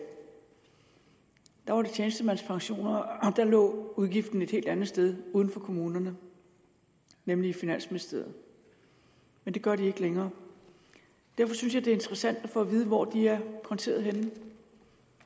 var det tjenestemandspensioner og der lå udgiften et helt andet sted uden for kommunerne nemlig i finansministeriet men det gør de ikke længere derfor synes jeg det er interessant at få at vide hvor de er konteret henne